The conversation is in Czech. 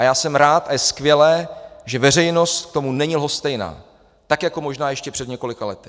A já jsem rád a je skvělé, že veřejnost k tomu není lhostejná, tak jako možná ještě před několika lety.